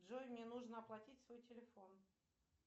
джой мне нужно оплатить свой телефон